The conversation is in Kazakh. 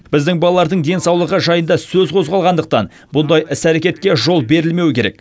біздің балалардың денсаулығы жайында сөз қозғалғандықтан бұндай іс әрекетке жол берілмеуі керек